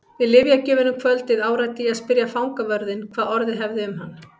Við lyfjagjöfina um kvöldið áræddi ég að spyrja fangavörðinn hvað orðið hefði um hann.